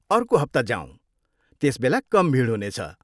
अर्को हप्ता जाऔँ, त्यसबेला कम भिड हुनेछ।